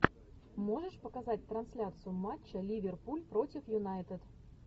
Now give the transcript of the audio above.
можешь показать трансляцию матча ливерпуль против юнайтед